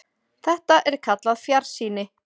Þetta er kallað fjarsýni.